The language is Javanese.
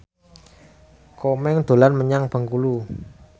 Komeng dolan menyang Bengkulu